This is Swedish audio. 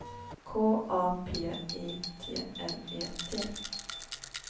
K A P I T L E T